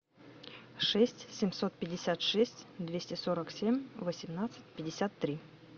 шесть семьсот пятьдесят шесть двести сорок семь восемнадцать пятьдесят три